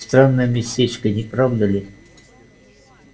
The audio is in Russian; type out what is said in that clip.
странное местечко не правда ли